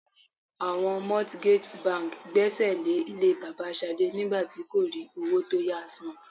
Àwọn mortgage bank gbésè lè ilé bàbà Ṣadé nígbà tí kò rí owó tó yá san.